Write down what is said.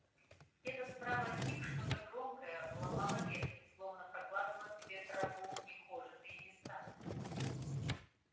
где-то справа от них что-то огромное ломало ветки словно прокладывало себе тропу в нехоженом месте